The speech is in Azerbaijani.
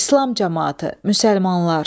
İslam camaatı, müsəlmanlar.